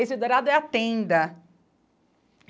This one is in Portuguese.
Esse dourado é a tenda.